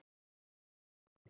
Hvað eigið þið við?